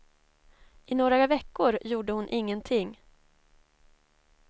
I några veckor gjorde hon ingenting.